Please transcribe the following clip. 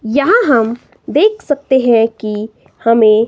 यहां हम देख सकते हैं की हमें--